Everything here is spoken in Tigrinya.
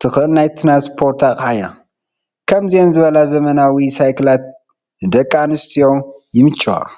ትኽእል ናይ ትራንስፖርት ኣቕሓ እያ፡፡ ከምዚአን ዝበላ ዘበናዊ ሳይክላት ንደቂ ኣንስትዮ ይምችዋ፡፡